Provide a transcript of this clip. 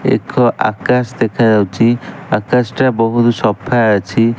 ଏକ ଆକାଶ ଦେଖା ଯାଉଚି ଆକାଶ ଟା ବହୁତ୍ ସଫା ଅଛି।